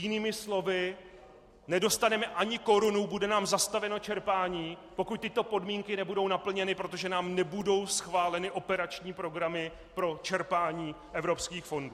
Jinými slovy, nedostaneme ani korunu, bude nám zastaveno čerpání, pokud tyto podmínky nebudou naplněny, protože nám nebudou schváleny operační programy pro čerpání evropských fondů.